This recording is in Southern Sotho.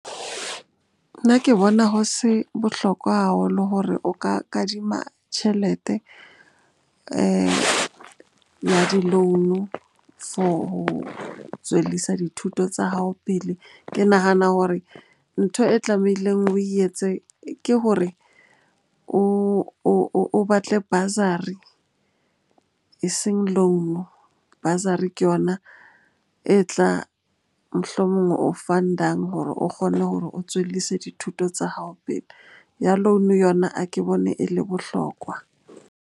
Nna ke bona ho se bohlokwa haholo hore o ka kadima tjhelete ya di-loan-o for ho tswellisa dithuto tsa hao pele. Ke nahana hore ntho e tlamehileng o etse ke hore o batle bursary eseng loan-o. Bursary ke yona e tla, mohlomong o fund-ang hore o kgone hore o tswellise dithuto tsa hao pele. Ya loan-o yona a ke bone e le bohlokwa.